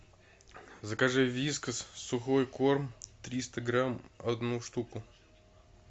закажи вискас сухой корм триста грамм одну штуку